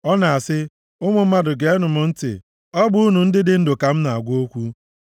ọ na-asị, “Ụmụ mmadụ geenụ m ntị; ọ bụ unu ndị dị ndụ ka m na-agwa okwu.